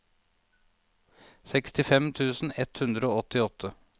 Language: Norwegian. sekstifem tusen ett hundre og åttiåtte